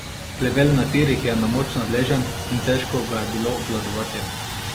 Plevel na tirih je na moč nadležen in težko ga je bilo obvladovati.